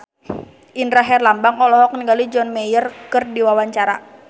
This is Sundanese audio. Indra Herlambang olohok ningali John Mayer keur diwawancara